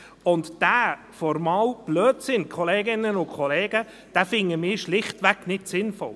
Diesen formalen Blödsinn, Kolleginnen und Kollegen, finden wir schichtweg nicht sinnvoll.